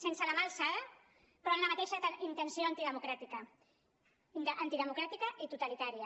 sense la mà alçada però amb la mateixa intenció antidemocràtica antidemocràtica i totalitària